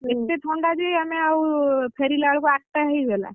ହୁଁ ଏତେ ଥଣ୍ଡା ଯେ ଆମେ ଆଉ ଫେରିଲା ବେଳକୁ ଆଠଟା ହେଇଗଲା